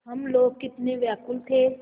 हम लोग कितने व्याकुल थे